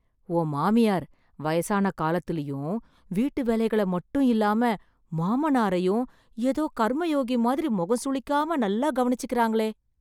உன் மாமியார் வயசான காலத்துலயும், வீட்டு வேலைகளை மட்டுமில்லாம, மாமனாரையும் எதோ கர்ம யோகி மாதிரி முகம் சுளிக்காம, நல்லா கவனிச்சிக்கறாங்களே...